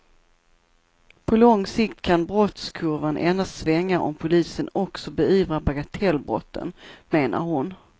På lång sikt kan brottskurvan endast svänga om polisen också beivrar bagatellbrotten, menar hon.